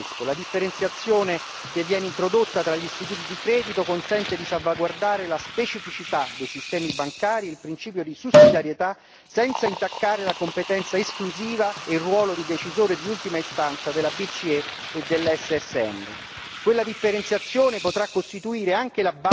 L'accordo raggiunto sulla vigilanza unica è un buon compromesso, la differenziazione che viene introdotta tra gli istituti di credito consente di salvaguardare la specificità dei sistemi bancari e il principio di sussidiarietà senza intaccare la competenza esclusiva e il ruolo di decisore di ultima istanza della BCE e dell'SSM.